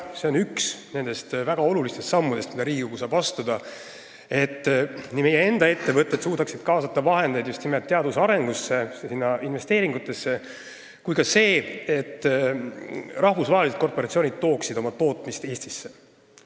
See on üks nendest väga olulistest sammudest, mille Riigikogu saab astuda – et nii meie enda ettevõtted suudaksid kaasata vahendeid teaduse arendusse, teha neid investeeringuid, kui ka rahvusvahelised korporatsioonid tooksid oma tootmise Eestisse.